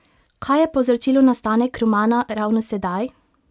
Kaj je povzročilo nastanek romana ravno sedaj?